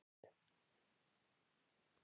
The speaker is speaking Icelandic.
Hvernig getur svona lagað gerst?